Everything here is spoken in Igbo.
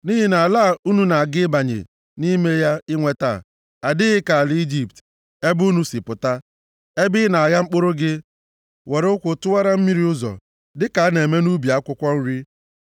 Nʼihi na ala a unu na-aga ịbanye nʼime ya inweta adịghị ka ala Ijipt, ebe unu si pụta, ebe ị na-agha mkpụrụ gị, were ụkwụ tụwara mmiri ụzọ, + 11:10 Nke a bụ nʼala ebe ihe ọkụkụ na-adịghị eto ma a gbaghị ya mmiri. dịka a na-eme nʼubi akwụkwọ nri.